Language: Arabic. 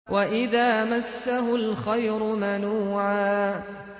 وَإِذَا مَسَّهُ الْخَيْرُ مَنُوعًا